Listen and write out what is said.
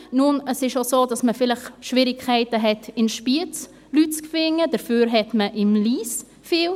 Nun, es ist auch so, dass man vielleicht in Spiez Schwierigkeiten hat, Leute zu finden, dafür hat man in Lyss viele.